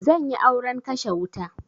Zanyi auren kashe wuta